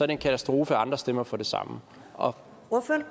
en katastrofe at andre stemmer for det samme og